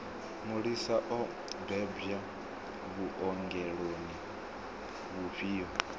mulisa o bebwa vhuongeloni vhufhio